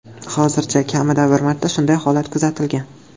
Hozircha kamida bir marta shunday holat kuzatilgan.